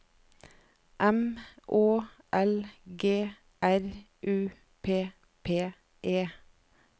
M Å L G R U P P E